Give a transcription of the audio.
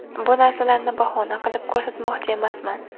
Bu narsalarni bahona qilib ko‘rsatmoqchi emasman.